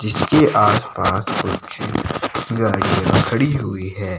जीसके आस पास कुछ गाड़ियां खड़ी हुई है।